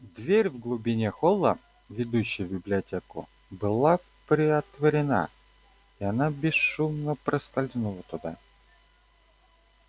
дверь в глубине холла ведущая в библиотеку была приотворена и она бесшумно проскользнула туда